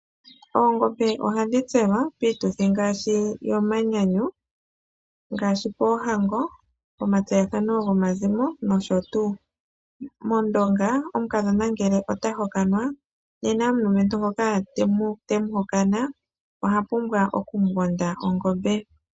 Oongombe ohadhi tselwa piituthi ngaashi yomanyanyu ngaashi poohango, pomatseyathano gomazimo noshotuu . MOndonga omukadhona ngele ota hokanwa, nena omulumentu ngoka te mu hokana oha pumbwa okumugonda ongombe.